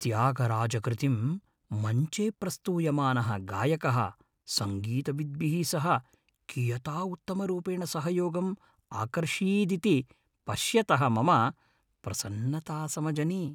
त्यागराजकृतिं मञ्चे प्रस्तूयमानः गायकः सङ्गीतविद्भिः सह कियता उत्तमरूपेण सहयोगम् अकार्षीदिति पश्यतः मम प्रसन्नता समजनि।